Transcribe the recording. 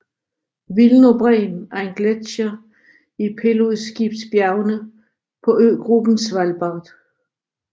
Wilnobreen er en gletsjer i Pilsudskibjergene på øgruppen Svalbard